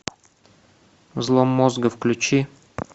взлом мозга включи